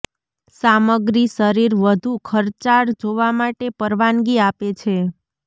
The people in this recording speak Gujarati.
સામગ્રી શરીર વધુ ખર્ચાળ જોવા માટે પરવાનગી આપે છે